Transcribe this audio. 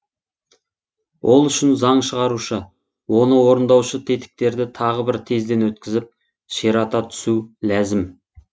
ол үшін заң шығарушы оны орындаушы тетіктерді тағы бір тезден өткізіп ширата түсу ләзім